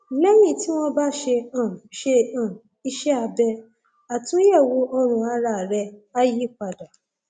lẹyìn tí wọn bá ṣe um ṣe um iṣẹ abẹ àtúnyẹwò ọrùn ara rẹ á yí padà